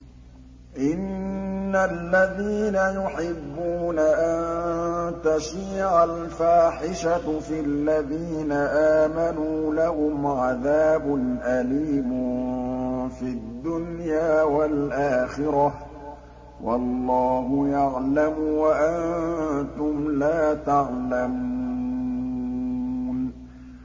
إِنَّ الَّذِينَ يُحِبُّونَ أَن تَشِيعَ الْفَاحِشَةُ فِي الَّذِينَ آمَنُوا لَهُمْ عَذَابٌ أَلِيمٌ فِي الدُّنْيَا وَالْآخِرَةِ ۚ وَاللَّهُ يَعْلَمُ وَأَنتُمْ لَا تَعْلَمُونَ